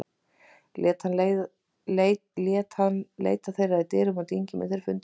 Lét hann leita þeirra í dyrum og dyngjum en þeir fundust ekki.